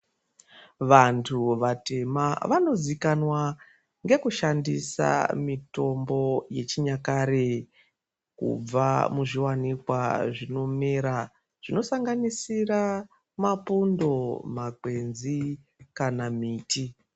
Vantu vatema vanozikanwa nekushandisa mitombo yechinyakare kubva muzviwanikwa zvinomera zvinosanganisira mapundo makwenzi kana miti.